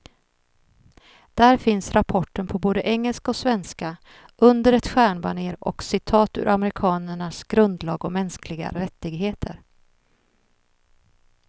Där finns rapporten på både engelska och svenska, under ett stjärnbanér och citat ur amerikanernas grundlag om mänskliga rättigheter.